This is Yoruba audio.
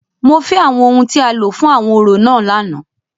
Mo fẹ awọn ohun ti a lo fun awọn orȯ náà làná!